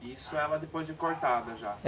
E isso ela depois de cortada já? É.